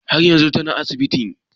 Har yanzun tana asibiti?